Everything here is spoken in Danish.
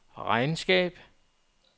regnskab